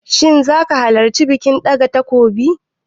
Shin zaka halarci bikin ɗaga takobin?